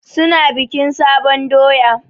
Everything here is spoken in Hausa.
Su na bikin sabon doya.